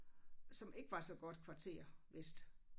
Som ikke var så godt kvarter vist